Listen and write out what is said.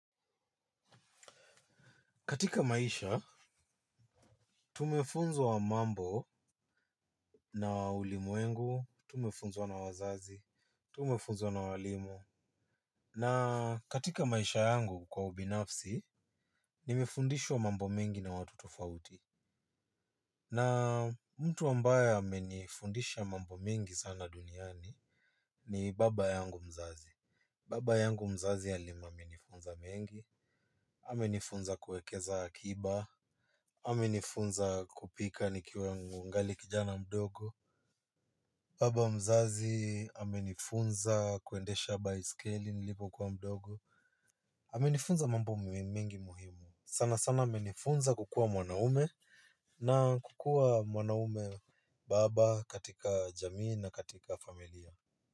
Katika maisha, tumefunzwa mambo na ulimwengu, tumefunzwa na wazazi, tumefunzwa na walimu. Na katika maisha yangu kwa ubinafsi, nimefundishwa mambo mengi na watu tofauti. Na mtu ambaye amenifundisha mambo mengi sana duniani ni baba yangu mzazi. Baba yangu mzazi alima amenifunza mengi, amenifunza kuwekeza akiba, amenifunza kupika nikiwa angali kijana mdogo. Baba mzazi amenifunza kuendesha baiskeli nilipokuwa mdogo. Amenifunza mambo muhimu mengi muhimu sana sana amenifunza kukua mwanaume. Na kukuwa mwanaume baba katika jamii na katika familia.